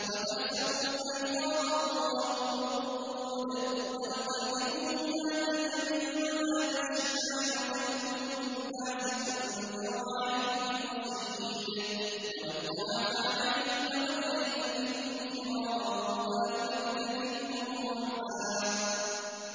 وَتَحْسَبُهُمْ أَيْقَاظًا وَهُمْ رُقُودٌ ۚ وَنُقَلِّبُهُمْ ذَاتَ الْيَمِينِ وَذَاتَ الشِّمَالِ ۖ وَكَلْبُهُم بَاسِطٌ ذِرَاعَيْهِ بِالْوَصِيدِ ۚ لَوِ اطَّلَعْتَ عَلَيْهِمْ لَوَلَّيْتَ مِنْهُمْ فِرَارًا وَلَمُلِئْتَ مِنْهُمْ رُعْبًا